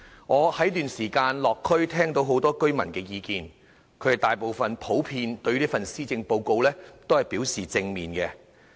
我在這段時間落區聽到很多居民的意見，他們大部分普遍對這份施政報告反應正面。